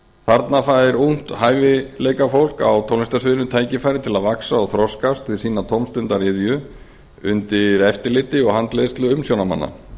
þarna fær ungt hæfileikafólk á tónlistarsviðinu tækifæri til að vaxa og þroskast við sína tómstundaiðju undir eftirliti og handleiðslu umsjónarmanna